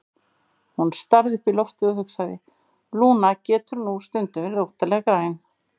Hún starði upp í loftið og hugsaði: Lúna getur nú stundum verið óttalega græn.